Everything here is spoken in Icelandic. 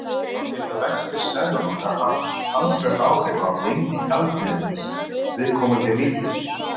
Þá geta vextir seðlabanka haft talsverð áhrif á gengi gjaldmiðils viðkomandi ríkis.